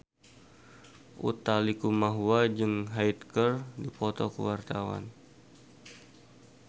Utha Likumahua jeung Hyde keur dipoto ku wartawan